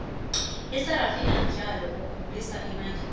isarafina mudlolo okhombisa ibandlululo